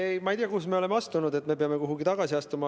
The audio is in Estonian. Ei, ma ei tea, kuhu me oleme astunud, et me peame kuhugi tagasi astuma.